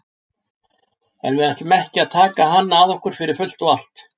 En við ætlum ekki að taka hann að okkur fyrir fullt og allt.